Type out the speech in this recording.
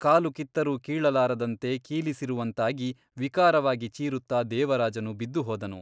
ಕಾಲು ಕಿತ್ತರೂ ಕೀಳಲಾರದಂತೆ ಕೀಲಿಸಿರುವಂತಾಗಿ ವಿಕಾರವಾಗಿ ಚೀರುತ್ತ ದೇವರಾಜನು ಬಿದ್ದುಹೋದನು.